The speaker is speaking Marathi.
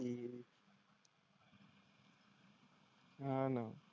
हां ना.